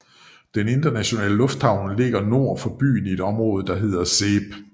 Den internationale lufthavn ligger nord for byen i et område der hedder Seeb